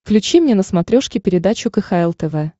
включи мне на смотрешке передачу кхл тв